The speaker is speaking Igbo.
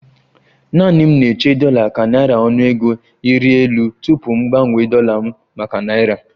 Naanị m na-eche dollar ka naira ọnụego ịrị elu tupu m gbanwee dollar m maka naira